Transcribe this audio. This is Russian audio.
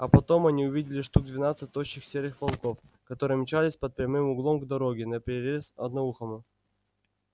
а потом они увидели штук двенадцать тощих серых волков которые мчались под прямым углом к дороге наперерез одноухому